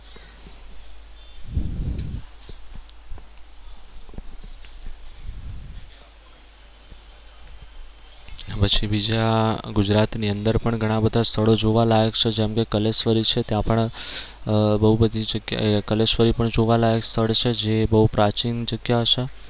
પછી બીજા ગુજરાત ની અંદર પણ ઘણા બધા સ્થળો જોવાલાયક છે જેમ કે કલેશ્વરી છે ત્યાં પણ આહ બહુ બધી જગ્યાએ કલેશ્વરી પણ જોવાલાયક સ્થળ છે જે બહુ પ્રાચીન જગ્યા છે.